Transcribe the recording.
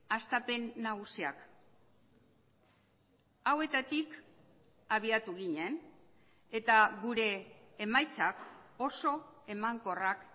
hastapen nagusiak hauetatik abiatu ginen eta gure emaitzak oso emankorrak